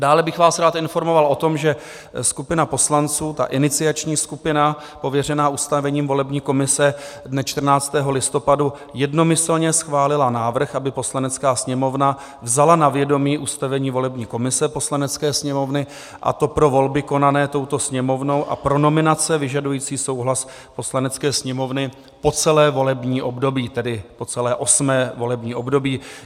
Dále bych vás rád informoval o tom, že skupina poslanců, ta iniciační skupina pověřená ustavením volební komise, dne 14. listopadu jednomyslně schválila návrh, aby Poslanecká sněmovna vzala na vědomí ustavení volební komise Poslanecké sněmovny, a to pro volby konané touto Sněmovnou a pro nominace vyžadující souhlas Poslanecké sněmovny po celé volební období, tedy po celé osmé volební období.